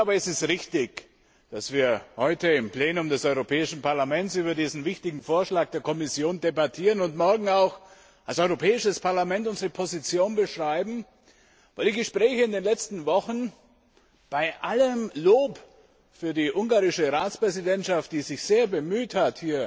Es ist richtig, dass wir heute im Plenum des Europäischen Parlaments über diesen wichtigen Vorschlag der Kommission debattieren und morgen auch als Europäisches Parlament unsere Position beschreiben, weil die Gespräche in den letzten Wochen bei allem Lob für die ungarische Ratspräsidentschaft, die sich sehr bemüht hat,